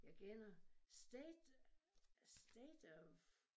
Jeg kender state state of